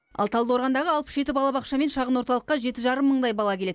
ал талдықорғандағы алпыс жеті балабақша мен шағын орталыққа жеті жарым мыңдай бала келеді